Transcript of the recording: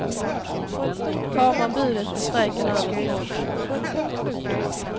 Tar man budet är strejken över på måndag.